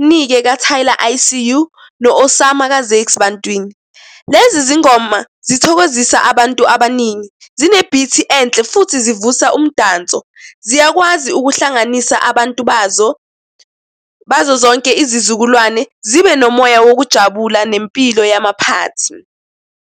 Mnike ka-Tyler I_C_U no-Osama ka-Zakes Bantwini. Lezi zingoma zithokozisa abantu abaningi, zine-beat enhle futhi zivusa umdanso. Ziyakwazi ukuhlanganisa abantu bazo, bazo zonke izizukulwane, zibe nomoya wokujabula nempilo yama-party.